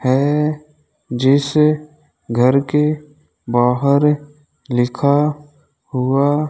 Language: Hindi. है जिस घर के बाहर लिखा हुआ --